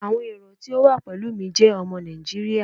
Awọn ero ti o wa pẹlu mi jẹ ọmọ Naijiria